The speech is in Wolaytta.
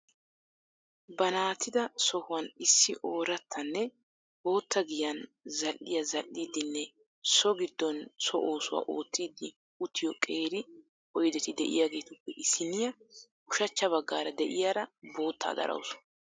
Baanattida sohuwan issi oorattanne bootta giyan zal"iya zal"iddinne so giddon so oosuwa oottiiddi uttiyo qeeri oydeti de"iyaagetuppe issiniya ushachcha baggaara de"iyaara boottaa darawusu.